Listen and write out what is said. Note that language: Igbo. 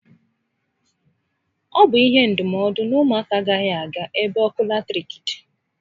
Ọ bụ ihe ndụmọdụ na ụmụ aka agaghị aga ebe ọkụ latiriki dị